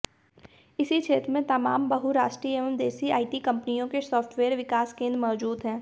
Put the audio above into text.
इसी क्षेत्र में तमाम बहुराष्ट्रीय एवं देसी आईटी कंपनियों के सॉफ्टवेयर विकास केंद्र मौजूद हैं